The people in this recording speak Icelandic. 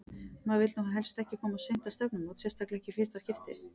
Maður vill nú helst ekki koma of seint á stefnumót, sérstaklega ekki í fyrsta skipti!